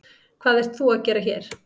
Hvað ert þú að gera hér?